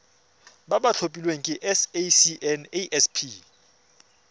ba ba tlhophilweng ke sacnasp